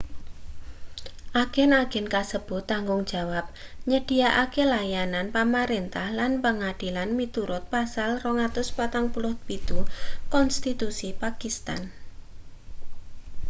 agen-agen kasebut tanggung jawab nyedhiyakake layanan pamrentah lan pangadilan miturut pasal 247 konstitusi pakistan